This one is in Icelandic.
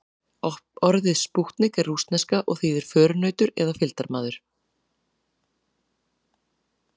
Orðið spútnik er rússneska og þýðir förunautur eða fylgdarmaður.